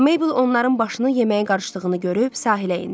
Maybel onların başını yeməyə qarışdığını görüb sahilə endi.